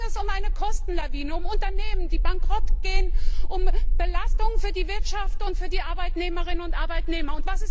Da ging es um eine Kostenlawine, um Unternehmen, die Bankrott gehen, um Belastungen für die Wirtschaft und für die Arbeitnehmerinnen und Arbeitnehmer.